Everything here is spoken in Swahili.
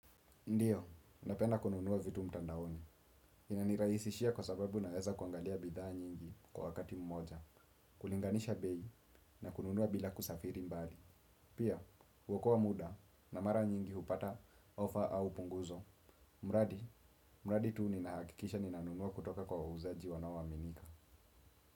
Ndio, napenda kununua vitu mtandaoni. Inanirahisishia kwa sababu naweza kuangalia bidhaa nyingi kwa wakati mmoja. Kulinganisha bei na kununua bila kusafiri mbali. Pia, huokoa muda na mara nyingi hupata ofa au punguzo. Muradi, muradi tuu ninahakikisha ninanunua kutoka kwa wauzaji wanaoaminika.